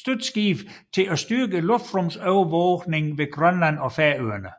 støtteskibe til at styrke luftrumsovervågningen ved Grønland og Færøerne